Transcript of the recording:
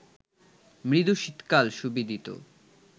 মৃদু শীতকাল সুবিদিত